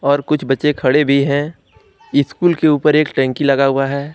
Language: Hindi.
और कुछ बच्चे खड़े भी है। इस्कूल के ऊपर एक टंकी लगा हुआ है।